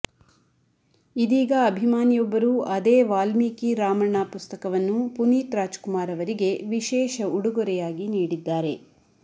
ಇದೀಗ ಅಭಿಮಾನಿಯೊಬ್ಬರು ಅದೇ ವಾಲ್ಮೀಕಿ ರಾಮಣ್ಣ ಪುಸ್ತಕವನ್ನು ಪುನೀತ್ ರಾಜ್ಕುಮಾರ್ ಅವರಿಗೆ ವಿಶೇಷ ಉಡುಗೊರೆಯಾಗಿ ನೀಡಿದ್ದಾರೆ